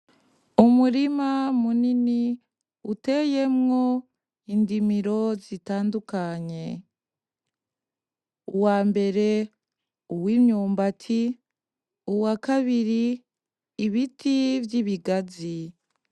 Umurima munini uteyemwo indimiro zitandukanye, uwambere uwimyumbati, uwakabiri ibiti vy'ibigazi.